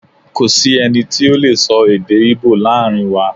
Ko si ẹni ti o lee sọ èdè ibo laarin wa